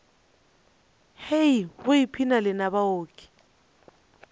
hei go ipshina lena baoki